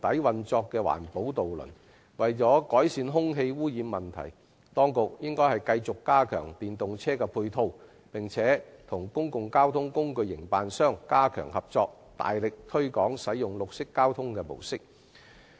為了改善空氣污染問題，當局應繼續加強電動車的配套設施，加強與公共交通工具營辦商合作，大力推廣綠色交通模式。